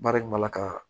Baara in b'a la ka